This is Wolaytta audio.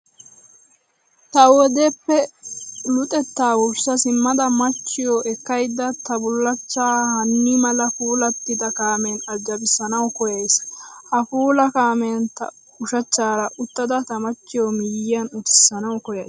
Ta wodeppe luxettaa wurssa simmada machchiyoo ekkayidda ta bullachchaa hannii mala puulattida kaamen ajabissanawu koyyays. Ha puula kaamen ta ushachchaara uttada tamachchiyoo miyyiyan utissanawu koyyays.